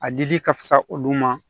A dili ka fisa olu ma